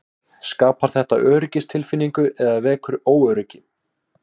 Skapar þetta öryggistilfinningu eða vekur óöryggi?